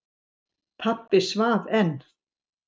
Pabbi svaf enn.